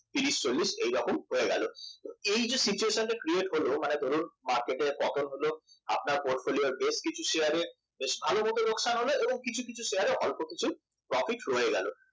তিরিশ চল্লিশ এইরকম হয়ে গেল এই যে situation টা create হল মানে ধরুন market এর পতন হলো আপনার portfolio র বেশ কিছু শেয়ারের ভারী মত লোকসান হলো কিছু কিছু শেয়ারের অল্প কিছু profit রয়ে গেল